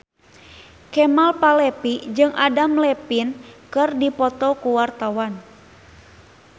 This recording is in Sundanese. Kemal Palevi jeung Adam Levine keur dipoto ku wartawan